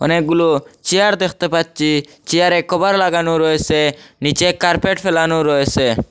অনেকগুলো চেয়ার দেখতে পাচ্ছি চেয়ারে কভার লাগানো রয়েছে নিচে কার্পেট ফেলানো রয়েছে।